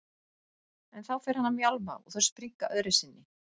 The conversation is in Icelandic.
En þá fer hann að mjálma og þau springa öðru sinni.